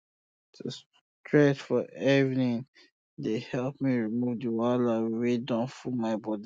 to stretch for evening um dey help me remove the wahala um wey don full my body